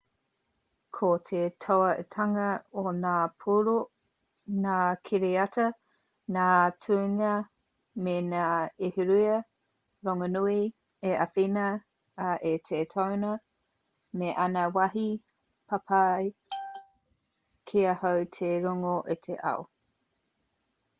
ko te tōaitanga o ngā puoro ngā kiriata ngā tuhinga me ngā ahurea rongonui i āwhina ai i te tāone me ana wāhi papai kia hau te rongo i te ao